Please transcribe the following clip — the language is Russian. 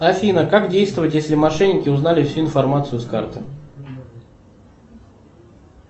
афина как действовать если мошенники узнали всю информацию с карты